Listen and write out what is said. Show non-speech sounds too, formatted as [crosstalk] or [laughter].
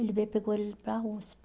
Ele veio e pegou ele para [unintelligible]